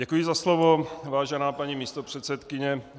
Děkuji za slovo, vážená paní místopředsedkyně.